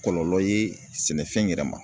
Kɔlɔlɔ ye sɛnɛfɛn yɛrɛ ma.